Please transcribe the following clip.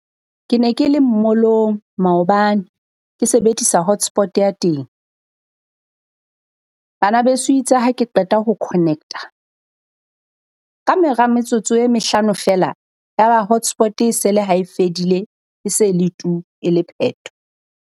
Ke ne ke le mall-ong maobane ke sebedisa hotspot ya teng. Bana beso itse ha ha ke qeta ho connect-a kamora metsotso e mehlano feela yaba hotspot e se le ha e fedile. E se le tu e le pheto.